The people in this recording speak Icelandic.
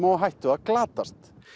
á hættu að glatast